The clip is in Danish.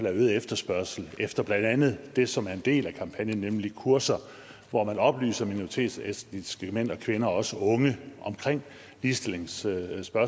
er øget efterspørgsel efter blandt andet det som er en del af kampagnen nemlig kurser hvor man oplyser minoritetsetniske mænd og kvinder og også unge omkring ligestillingsspørgsmål